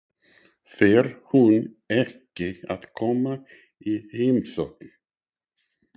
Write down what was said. Fer hún ekki að koma í heimsókn?